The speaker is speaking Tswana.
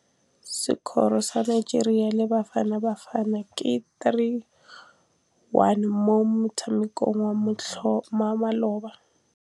Sekôrô sa Nigeria le Bafanabafana ke 3-1 mo motshamekong wa malôba.